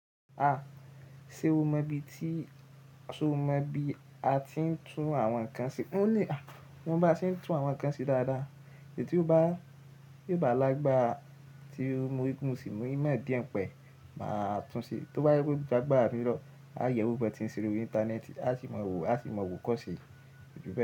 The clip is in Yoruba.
A, ṣe o mọ ibi tí, ṣe o mọ bi a ti ń tún àwọn ǹkan ṣe? O le, tí wọ́n bá ṣe ń tún àwọn ǹkan ṣe dáadáa èyí tí ó bá, ti o bá a lágbára tí mo ri pe, mo sì mú ìmọ̀ díẹ̀ ni pa ẹ́, máa tún ṣe. Tó bá je pé o jagbára mì lo, a yewo ban ti n ṣe lórí íńtánẹ́ẹ̀tì, a sì mọ wo, a sì mọ wo koṣe. Kojúbẹ.